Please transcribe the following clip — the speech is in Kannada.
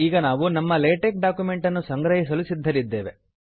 ಈಗ ನಾವು ನಮ್ಮ ಲೇಟೆಕ್ ಡಾಕ್ಯುಮೆಂಟನ್ನು ಸಂಗ್ರಹಿಸಲು ಸಿದ್ಧರಿದ್ದೇವೆ